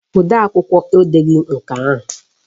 Odeakwụkwọ edeghi nke ahụ